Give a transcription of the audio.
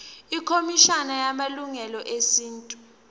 ikhomishana yamalungelo esintu